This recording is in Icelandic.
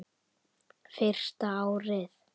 Fyrsta árið.